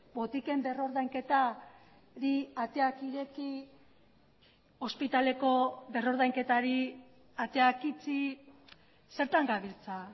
botiken berrordainketari ateak ireki ospitaleko berrordainketari ateak itxi zertan gabiltza